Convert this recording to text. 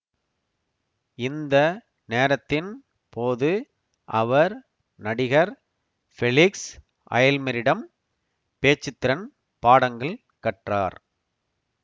இந்த நேரத்தின் போது அவர் நடிகர் ஃபெலிக்ஸ் அய்ல்மெரிடம் பேச்சுத்திறன் பாடங்கள் கற்றார்